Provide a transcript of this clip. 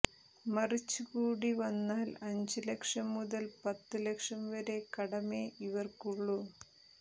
മറിച്ച് കൂടി വന്നാൽ അഞ്ച് ലക്ഷം മുതൽ പത്ത് ലക്ഷം വരെ കടമേ ഇവർക്കുള്ളൂ